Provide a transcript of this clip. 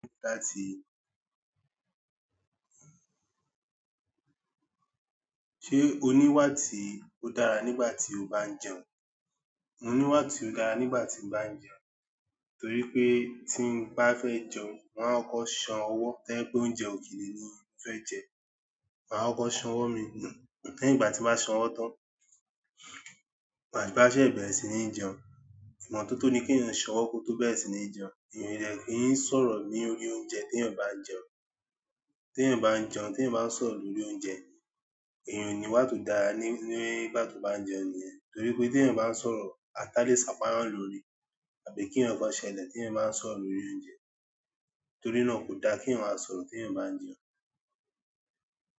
Ṣé oníwà tí ó dára nígbà tí o bá ń jẹun? Mo níwà tí ó dára nígbà tí ń bá jẹun, torí pé tí ń bá fẹ́ jẹun, má kọkọ san ọwọ́ to ba jẹ pé oúnjẹ òkèlè ni mo fẹ́ jẹ, má kọkọ san ọwọ́ mi nu nígbà tí bá san ọwọ́ tán, màá wá ṣẹ̀ bẹrẹ sì ní jẹun. Ìmọ́tótó ni ki eeyan sanwọ ko to bẹ̀rẹ̀ si ni jẹun. Èèyàn dẹ̀ kì í ń sọ̀rọ̀ lórí oúnjẹ tí eeyan bá ń jẹun. T'eeyan bá ń jẹun, tí eeyan ba ń sọ̀rọ̀ lórí oúnjẹ, èèyàn o n'iwà tó dára nígbà tó bá ń jẹun ni yẹn torí pé t'eeyan bá ń sọ̀rọ̀, ata lè sàpá eeyan lórí, àbí kí nkankan ṣẹlẹ̀ tí eeyan bá ń sọ̀rọ̀ lórí oúnjẹ. Torí náà kò dáa kí èèyàn má sọ̀rọ̀ tí eeyan bá ń jẹun.